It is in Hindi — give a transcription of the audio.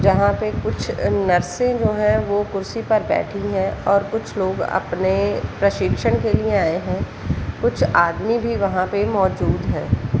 यहाँ पे कुछ नर्सें जो है वो कुर्सी पर बैठी है और कुछ लोग अपने प्रशिक्षण के लिए आए है कुछ आदमी भी वहाॅं पे मौजूद है।